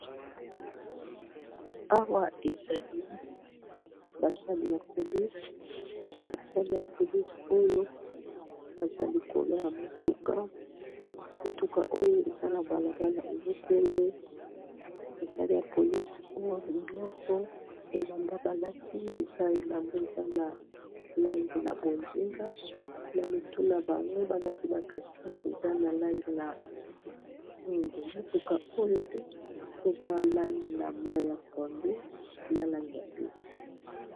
Awa ezali basali ya polise oyo baza likolo ya mutuka, mutuka oyo eza na balabala ezokende, basali ya polise nyonso elamba balati eza elamba eza na langi ya bonzinga na mitu na bango balati ba ekoti eza na langi ya mwingu, motuka oyo mpe eza na langi ya mai ya pondu na langi ya pembe.